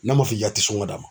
N'a ma f'i ka te sɔngɔ d'a ma